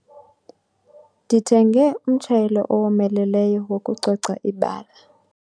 Ndithenge umtshayelo owomeleleyo wokucoca ibala.